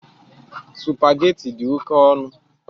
Sụpagheti dị oke ọnụ.